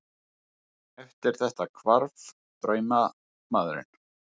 Eftir þetta hvarf draumamaðurinn.